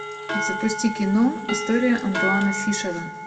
запусти кино история антуана фишера